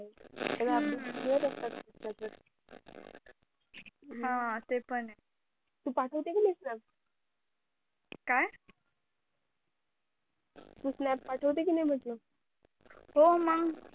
हा ते पण ये तू पाठवते कि नी snap काय तू snap पाठवते का नाही म्हटलं हो मंग